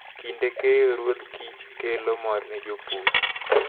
Kinde keyo, ruodh kich kelo mor ne jopur.